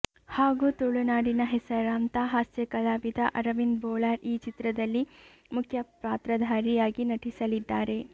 ಹಾಗು ತುಳುನಾಡಿನ ಹೆಸರಾಂತ ಹಾಸ್ಯ ಕಲಾವಿದ ಅರವಿಂದ್ ಬೋಳಾರ್ ಈ ಚಿತ್ರದಲ್ಲಿ ಮುಖ್ಯ ಪಾತ್ರಧಾರಿಯಾಗಿ ನಟಿಸಲಿದ್ದಾರೆ